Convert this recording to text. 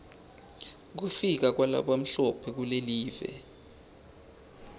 kufika kwalabamhlophe kulive